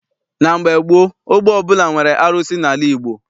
Na mgbe gboo, ogbe ọbụla nwere arụsị n'ala Igbo.